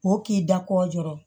O k'i da ko jɔrɔ